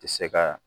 Tɛ se ka